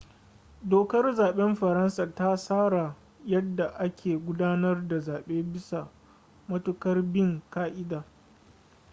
dokar zaɓen faransa ta tsara yadda ake gudanar da zaɓe bisa matuƙar bin ƙa'ida